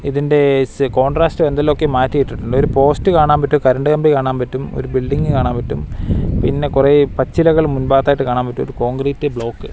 ഇതിന്റെ കോൺട്രാസ്റ്റ് എന്തെല്ലാംയൊക്കെ മാറ്റിയിട്ടുണ്ട് ഒരു പോസ്റ്റ് കാണാൻ പറ്റും കറൻറ് കമ്പി കാണാൻ പറ്റും ഒരു ബിൽഡിങ് കാണാൻ പറ്റും പിന്നെ കുറെ പച്ചിലകൾ മുൻ ഭാഗത്തായിട്ട് കാണാൻ പറ്റും കോൺക്രീറ്റ് ബ്ലോക്ക് --